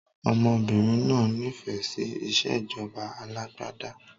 Ọmọbìnrin náà nifẹ si ìsèjọba alàgbàda